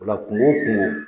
O la kunko o kunko